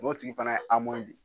O tigi fana ye de ye.